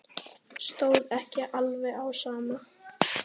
Stóð ekki alveg á sama.